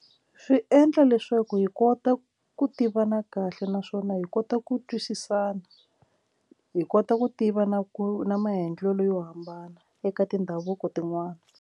Swi endla leswaku hi kota ku tivana kahle naswona hi kota ku twisisana hi kota ku tiva na ku na maendlelo yo hambana eka tindhavuko tin'wani.